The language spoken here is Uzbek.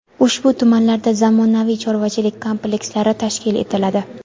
ushbu tumanlarda zamonaviy chorvachilik komplekslari tashkil etiladi.